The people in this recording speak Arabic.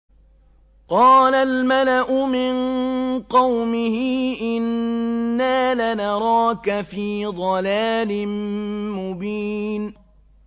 قَالَ الْمَلَأُ مِن قَوْمِهِ إِنَّا لَنَرَاكَ فِي ضَلَالٍ مُّبِينٍ